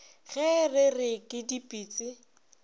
ge re re ke dipitsi